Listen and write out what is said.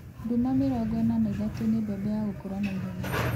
Duma 43 nĩ mbembe ya gũkũra na ihenya